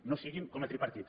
no siguin com a tripartit